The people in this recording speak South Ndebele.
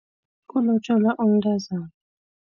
Kulotjolwa umntazana.